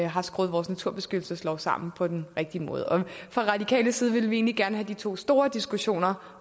har skruet vores naturbeskyttelseslov sammen på den rigtige måde fra radikal side vil vi egentlig gerne have de to store diskussioner